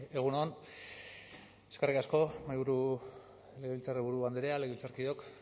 egun on eskerrik asko legebiltzarburu andrea legebiltzarkideok